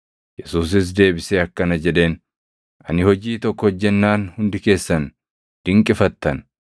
Yesuusis deebisee akkana jedheen; “Ani hojii tokko hojjennaan hundi keessan dinqifattan.